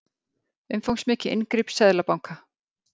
Umfangsmikið inngrip seðlabanka